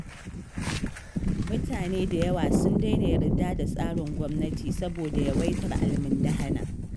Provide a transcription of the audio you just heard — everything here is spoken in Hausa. Mutane da yawa sun daina yarda da tsarin gwamnati saboda yawaitar almundahana.